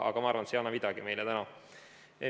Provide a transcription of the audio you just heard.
Aga ma arvan, et see ei anna meile täna midagi.